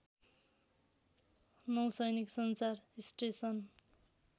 नौसैनिक संचार स्टेसन